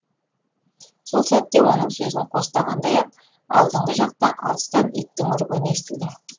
сол сәтте оның сөзін қостағандай ақ алдыңғы жақта алыстан иттің үргені естілді